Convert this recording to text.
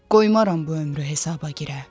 Qoymaram bu ömrü hesaba girə.